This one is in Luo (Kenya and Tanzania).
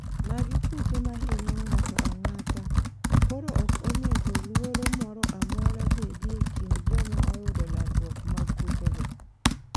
magi kute ma hinyo ng'ato ang'ata koro ok onego luoro moro amora bedi ekind joma oyudo landruok mag kutego